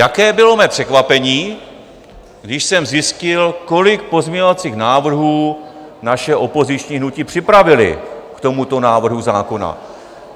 Jaké bylo mé překvapení, když jsem zjistil, kolik pozměňovacích návrhů naše opoziční hnutí připravila k tomuto návrhu zákona.